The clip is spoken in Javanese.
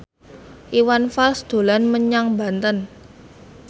Iwan Fals dolan menyang Banten